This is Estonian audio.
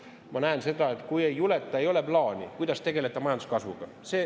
Ma näen seda, et ei juleta, ei ole plaani, kuidas tegeleda majanduskasvuga.